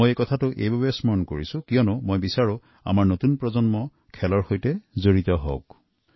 মই এই বিষয়চোক এই কাৰণেই স্মৰণ কৰিছো কাৰণ মই বিচাৰো যে আমাৰ দেশৰ নতুন প্ৰজন্ম খেলাধুলাৰ সৈতে জড়িত হওঁক